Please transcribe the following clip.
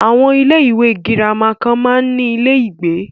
Àwọn ilé ìwé gírámà kan máa ń ní ilé ìgbé.